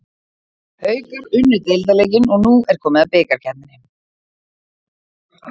Haukar unnu deildarleikinn og nú er komið að bikarkeppninni.